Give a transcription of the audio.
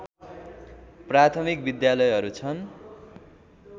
प्राथमिक विद्यालयहरू छन्